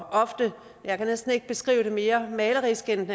jeg kan næsten ikke beskrive det mere malerisk end